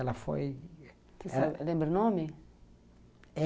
Ela foi... Lembra o nome?